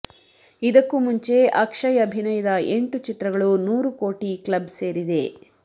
ಇದಕ್ಕು ಮುಂಚೆ ಅಕ್ಷಯ್ ಅಭಿನಯದ ಎಂಟು ಚಿತ್ರಗಳು ನೂರು ಕೋಟಿ ಕ್ಲಬ್ ಸೇರಿದೆ